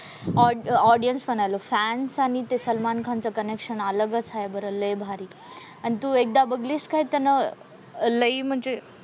अह ऑडियन्स म्हणालो, फॅन्स आणि ते सलमान खानचं कनेक्शन अलगच आहे बरं. लय भारी. आणि तू एकदा बघलीस काय त्यानं लई म्हणजे,